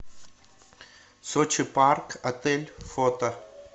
сочи парк отель фото